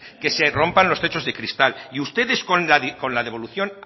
que se rompan los techos de cristal y ustedes con la devolución